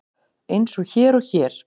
Eins og hér og hér.